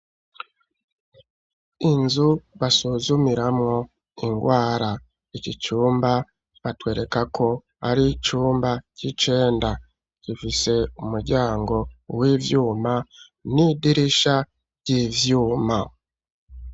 Inzu basuzumiramwo ingwara, iki cumba batwerekako ar'icumba c'icenda, gifise umuryango w'ivyuma n'idirisha ry'ivyuma